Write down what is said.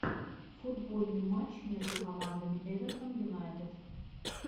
футбольный матч между командами эвертон юнайтед